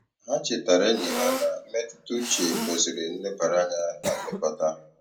Ha chetaara enyi ha na mmetụtauche kwesịrị nlebara anya na nlekọta.